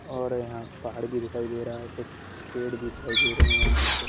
और यहां पहाड़ भी दिखाई दे रहा है। कुछ पेड़ भी दिखाई दे रहे हैं यहां पे --